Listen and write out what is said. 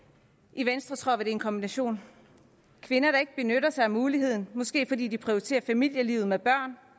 i venstre tror vi det er en kombination kvinder der ikke benytter sig af muligheden måske fordi de prioriterer familielivet med børn